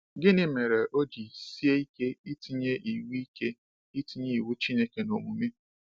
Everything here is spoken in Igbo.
Gịnị mere o ji sie ike itinye iwu ike itinye iwu Chineke n’omume?